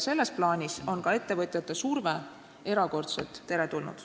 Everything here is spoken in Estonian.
Selles plaanis on ka ettevõtjate surve erakordselt teretulnud.